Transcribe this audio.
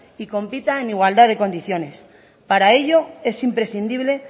y compita en igualdad de condiciones para ello es imprescindible